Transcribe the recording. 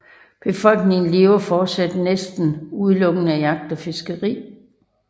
Befolkningen levede fortsat næsten udelukkende af jagt og fiskeri